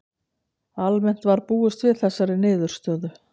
Almennt var búist við þessari niðurstöðu